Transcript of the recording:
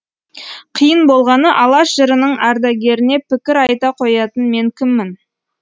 қиын болғаны алаш жырының ардагеріне пікір айта қоятын мен кіммін